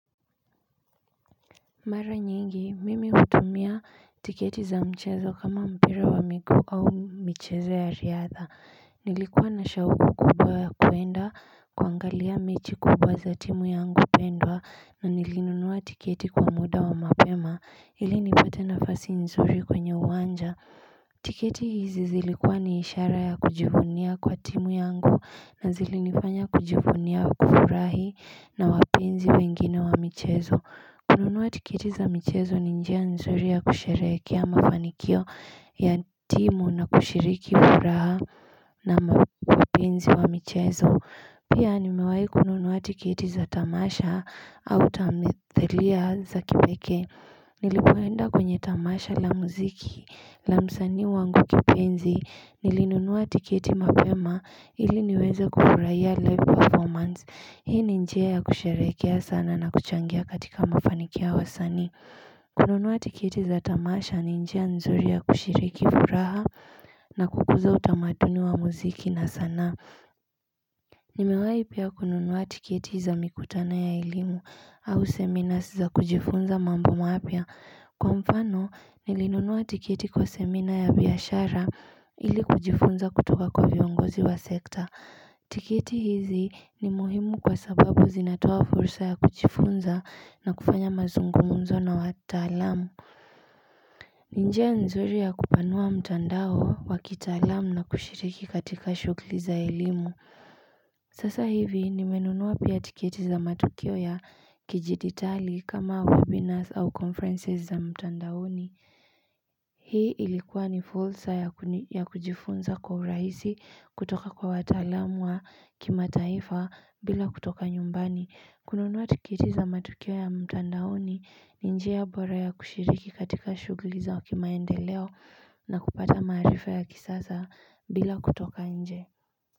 Mara nyingi, mimi hutumia tiketi za mchezo kama mpira wa miguu au michezo ya riadha, nilikuwa na shauku kubwa ya kuenda kuangalia mechi kubwa za timu yangu pendwa na nilinunua tiketi kwa muda wa mapema ili nipate nafasi nzuri kwenye uwanja tiketi hizi zilikuwa ni ishara ya kujivunia kwa timu yangu na zilinifanya kujivunia kufurahi na wapenzi wengine wa mchezo kununua tiketi za mchezo ni njia nzuri ya kusherehekea mafanikio ya timu na kushiriki furaha na wapenzi wa mchezo Pia nimewai kununua tiketi za tamasha au tamithelia za kipekee Nilipoenda kwenye tamasha la muziki la msanii wangu kipenzi nilinunua tiketi mapema ili niweze kufurahia live performance Hii ni njia ya kusherehekea sana na kuchangia katika mafanikio ya wasanii kununua tiketi za tamasha ni njia nzuri ya kushiriki furaha na kukuza utamaduni wa muziki na sanaa Nimewai pia kununua tiketi za mikutano ya elimu au seminars za kujifunza mambo mapya Kwa mfano nilinunua tiketi kwa seminar ya biashara ili kujifunza kutoka kwa viongozi wa sekta tiketi hizi ni muhimu kwa sababu zinatoa fursa ya kujifunza na kufanya mazungumzo na watalamu ni njia nzuri ya kupanua mtandao wa kitalamu na kushiriki katika shughuli za elimu Sasa hivi nimenunua pia tikieti za matukio ya kijiditali kama webinars au conferences za mtandaoni Hii ilikuwa ni fursa ya kujifunza kwa urahisi kutoka kwa watalam wa kimataifa bila kutoka nyumbani kununua tiketi za matukio ya mtandaoni ni njia bora ya kushiriki katika shughuli za kimaendeleo na kupata marifa ya kisasa bila kutoka nje.